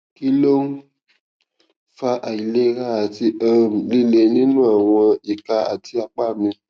kí ló ń fa àìlera àti um lile nínú àwọn ìka àti apá mi